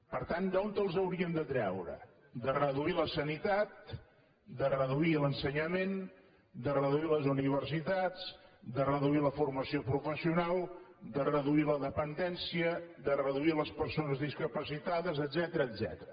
per tant d’on els hauríem de treure de reduir la sanitat de reduir l’ensenyament de reduir les universitats de reduir la formació professional de reduir la dependència de reduir les persones discapacitades etcètera